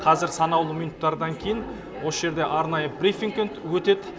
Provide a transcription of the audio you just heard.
қазір санаулы минуттардан кейін осы жерде арнайы брифинг өтеді